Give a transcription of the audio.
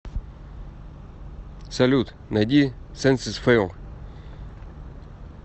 салют найди сенсес фейл